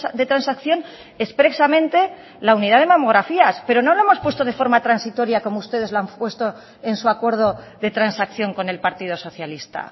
de transacción expresamente la unidad de mamografías pero no lo hemos puesto de forma transitoria como ustedes lo han puesto en su acuerdo de transacción con el partido socialista